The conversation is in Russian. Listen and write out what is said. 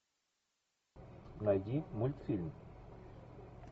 найди мультфильм